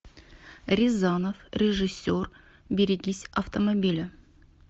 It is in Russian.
рязанов режиссер берегись автомобиля